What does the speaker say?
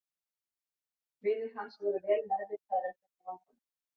Vinir hans voru vel meðvitaðir um þetta vandamál.